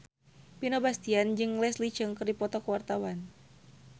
Vino Bastian jeung Leslie Cheung keur dipoto ku wartawan